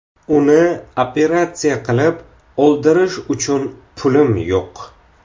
Uni operatsiya qilib, oldirish uchun pulim yo‘q.